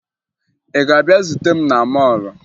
Ị ga-abịa zute m na mọọlụ?